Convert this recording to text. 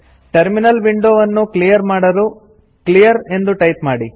terminal window ಅನ್ನು clear ಮಾಡಲು clear ಎಂದು ಟೈಪ್ ಮಾಡಿ